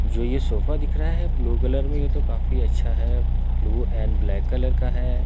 जो ये सोफा दिख रहा है ब्लू कलर में ये तो काफी अच्छा है ब्लू एंड ब्लैक कलर का है।